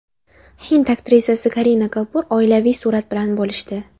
Hind aktrisasi Karina Kapur oilaviy surat bilan bo‘lishdi.